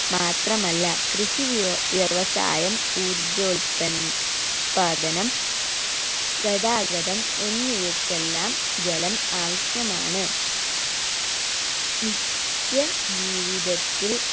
മാത്രമല്ല കൃഷി വ്യോ വ്യവസായം ഊർജോൽപന്ൻ പാദനം ഗതാഗതം എന്നിവക്കെല്ലാം ജലം ആവശ്യമാണ് നിത്യ ജീവിതത്തിൽ